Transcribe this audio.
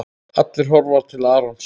Allir horfa til Arons.